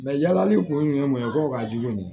yalali kun minɛ ko ka jugu nin